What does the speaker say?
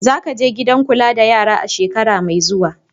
Za ka je gidan kula da yara a shekara mai zuwa!